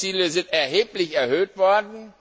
Die Sammelziele sind erheblich erhöht worden.